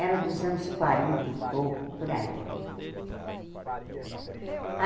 Era dos anos quarenta e pouco, por aí.